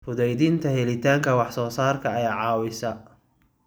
Fududeynta helitaanka wax soo saarka ayaa caawisa.